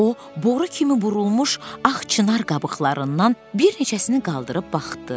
O boru kimi burulmuş ağ çinar qabıqlarından bir neçəsini qaldırıb baxdı.